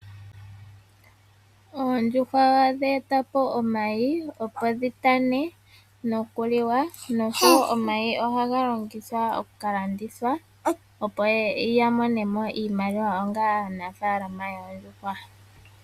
Ondjuhwa ohadhi eta po omayi opo dhitane noku liwa nosho wo omayi ohaga longithwa okukalanditha opo yamone mo iimaliwa onga aanafaalama yoondjuhwa.